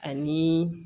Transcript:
Ani